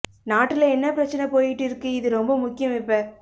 நாட்டுல என்ன பிரச்சனை போயிட்டு இருக்கு இது ரொம்ப முக்கியம் இப்ப